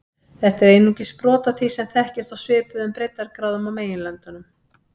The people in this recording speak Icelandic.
Þetta er einungis brot af því sem þekkist á svipuðum breiddargráðum á meginlöndunum.